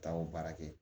Taa o baara kɛ